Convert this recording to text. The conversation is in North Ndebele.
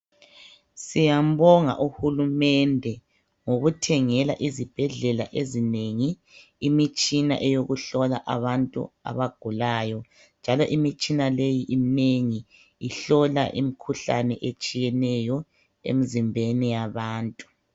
Siyambonga uhulumende ngokuthengela izibhedlela ezinengi imitshina eyokuhlola abantu abagulayo njalo imitshina leyi iminengi ihlola imikhuhlane etshiyeneyo emzimbeni yabantu.